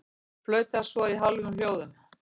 Flauta svo í hálfum hljóðum.